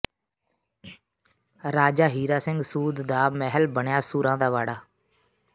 ਰਾਜਾ ਹੀਰਾ ਸਿੰਘ ਸੂਦ ਦਾ ਮਹਿਲ ਬਣਿਆ ਸੂਰਾਂ ਦਾ ਵਾੜਾ